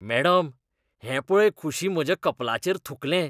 Madam, हें पळय खुशी म्हज्या कपलाचेर थुंकलें.